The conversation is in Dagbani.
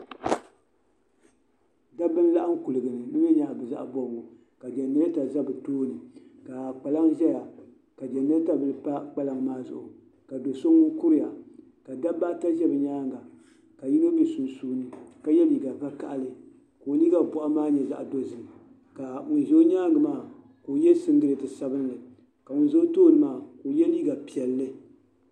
Dabba n laɣam kuligi ni bi mii nyɛla bi zaɣ bobgu ka jɛnirɛta ʒɛ bi tooni ka kpalaŋ ʒɛya ka jɛnirɛta bili pa kpalaŋ maa zuɣu ka do so ŋun kuriya ka dabba ata ʒɛ bi nyaanga ka yino bɛ sunsuuni ka yɛ liiga vakaɣali ka o liiga boɣu maa nyɛ zaɣ dozim ka ŋun ʒɛ o nyaangi maa ka o yɛ singirɛti sabinli ka ŋun ʒɛ o tooni maa ka o yɛ liiga piɛlli